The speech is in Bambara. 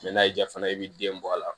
n'a y'i diya i ye i bɛ den bɔ a la